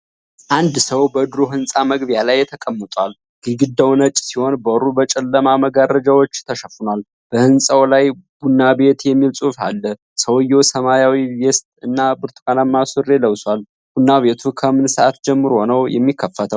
አንድ ሰው በድሮ ህንፃ መግቢያ ላይ ተቀምጧል። ግድግዳው ነጭ ሲሆን በሩ በጨለማ መጋረጃዎች ተሸፍኗል። በህንጻው ላይ **ቡና ቤት** የሚል ጽሑፍ አለ። ሰውየው ሰማያዊ ቬስት እና ብርቱካናማ ሱሪ ለብሷል። ቡና ቤቱ ከምን ሰዓት ጀምሮ ነው የሚከፈተው?